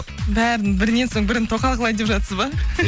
бәрін бірінен соң бірін тоқал қылайын деп жатсыз ба